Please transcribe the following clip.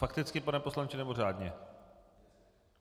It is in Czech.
Fakticky, pane poslanče, nebo řádně?